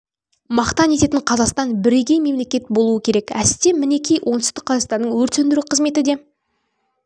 мақтан ететін қазақстан бірегей мемлекет болуы керек әсте мінеки оңтүстік қазақстанның өрт сөндіру қызметі де